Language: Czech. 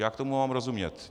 Jak tomu mám rozumět?